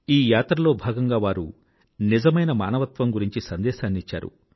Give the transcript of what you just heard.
ఈ యాత్రలో భాగంగా వారు నిజమైన మానవత్వం గురించి సందేశాన్ని ఇచ్చారు